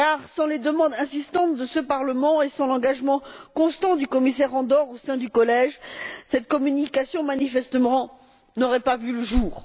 Sans les demandes insistantes de ce Parlement et sans l'engagement constant du commissaire Andor au sein du collège, cette communication n'aurait manifestement pas vu le jour.